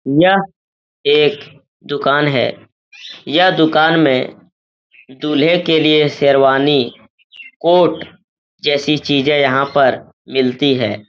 यह एक दुकान है। यह दुकान में दुल्हे के लिए शेरवानी कोट जैसी चीजे यहाँ पर मिलती हैं।